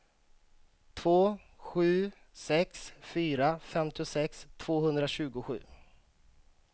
två sju sex fyra femtiosex tvåhundratjugosju